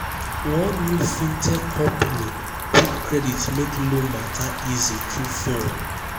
one new fintech company quickcredit make loan matter easy through phone.